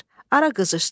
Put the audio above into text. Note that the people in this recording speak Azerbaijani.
Ara qızışdı.